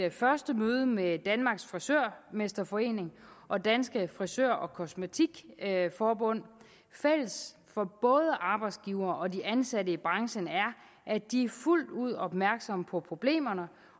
et første møde med danmarks frisørmesterforening og dansk frisør og kosmetiker forbund fælles for både arbejdsgiver og de ansatte i branchen er at de er fuldt ud opmærksomme på problemerne